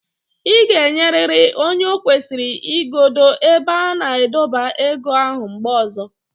Ị ga-enyeriri onye o kwesịrị igodo ebe a na-adọba ego ahụ mgbe ọzọ.